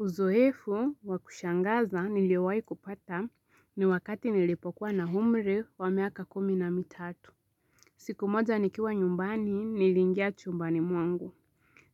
Uzoefu wa kushangaza niliowahi kupata ni wakati nilipokuwa na umri wa miaka kumi na mitatu. Siku moja nikiwa nyumbani niliingia chumbani mwangu.